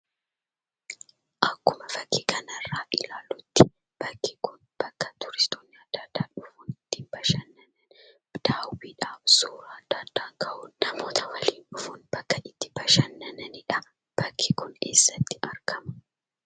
Akkuma fakkii kanarraa ilaallutti, bakki kun bakka tuuristoonni adda addaa dhufuun itti bashannani: daawwiidhaaf : suuraa adda addaa ka'uuf : namoota waliin dhufuun bakka itti bashannananidha. Bakki kun eessatti argama?